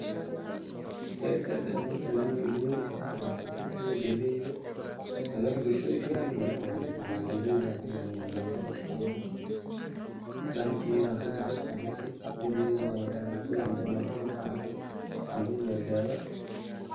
Zaid zaid ayey muhim u tahay bocor katituda, galeyda adhi bulshada ay kamarmin ba marwalba la isticmala, galeyda yaa ka marmaa waa boshaa lagu isticmala dan idaa si fican u isticmali sidhi idoo sidha canbula ahan baa u isticmali, galeyda waa dawaa.